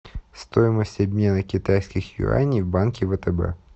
стоимость обмена китайских юаней в банке втб